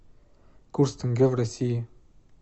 курс тенге в россии